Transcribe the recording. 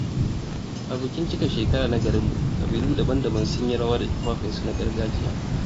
A bikin cika shekara na garinmu, kabilu daban-daban sun yi rawa da tufafinsu na gargajiya.